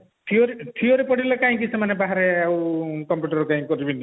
theory theory ପଢିଲେ କାହିଁକି ସେମାନେ ବାହାରେ ଆଉ computer ଆଉ କରିବେନି